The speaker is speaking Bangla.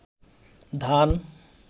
ধান